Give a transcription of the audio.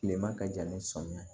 Kilema ka jan ni sɔmi